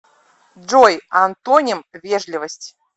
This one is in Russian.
джой антоним вежливость